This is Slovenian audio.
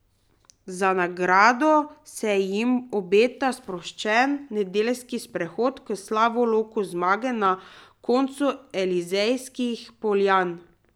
Za nagrado se jim obeta sproščen nedeljski sprehod k Slavoloku zmage na koncu Elizejskih poljan.